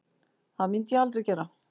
Það myndi ég aldrei gera